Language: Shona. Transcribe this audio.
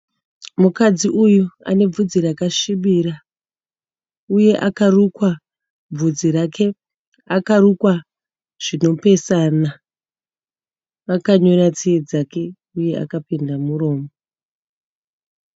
Mukadzi uyu ane bvudzi rakasvibira uye akarukwa bvudzi rake akarukwa zvinopesana. Vakanyora tsiye dzake uye akapenda muromo.